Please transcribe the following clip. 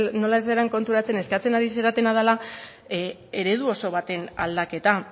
nola ez zaren konturatzen eskatzen ari zarena dela eredu oso baten aldaketa